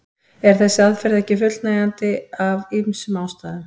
En þessi aðferð er ekki fullnægjandi af ýmsum ástæðum.